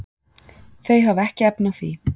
Þau hafa ekki efni á því.